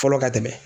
Fɔlɔ ka tɛmɛ